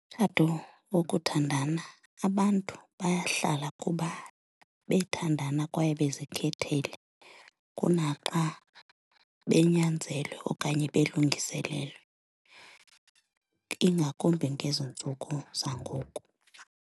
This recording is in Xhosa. Umtshato wokuthandana, abantu bayahlala kuba bethandana kwaye bezikhethele kunaxa benyanzelwe okanye belungiselelwa, ingakumbi ngezi ntsuku zangoku.